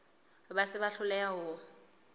ba se ba hloleha ho